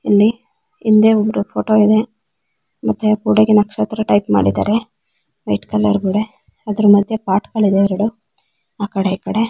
ಹಿಂದೆ ಒಬ್ರ ಫೋಟೋ ಇದೆ ಮತ್ತೆ ಗೋಡೆಗೆ ನಕ್ಷತ್ರ ಟೈಪ್ ಮಾಡಿದ್ದಾರೆ ರೆಡ್ ಕಲರ್ ಗೋಡೆ ಅದ್ರ್ ಮಧ್ಯ ಪೊಟ್ಗಳಿದೆ ಎರಡು ಆಕಡೆ ಈಕಡೆ.